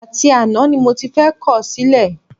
Àti àná ni mo ti fẹ́ kọ̀ ọ́ sílẹ̀